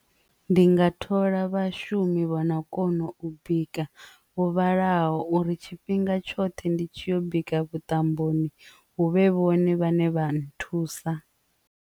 Ndi nga thola vhashumi vhona kona u bika huvhalaho uri tshifhinga tshoṱhe ndi tshi bika vhuṱamboni huvhe vhone vhaṋe vha nthusa.